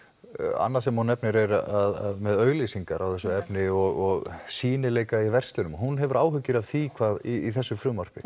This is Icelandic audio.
annað sem hún nefnir er að með auglýsingar á þessu efni og sýnileika í verslunum hún hefur áhyggjur af því hvað í þessu frumvarpi